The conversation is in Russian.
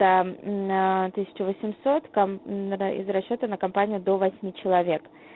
из расчёта на компанию до человек